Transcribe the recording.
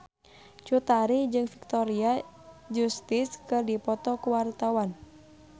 Cut Tari jeung Victoria Justice keur dipoto ku wartawan